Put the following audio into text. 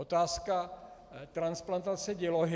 Otázka transplantace dělohy.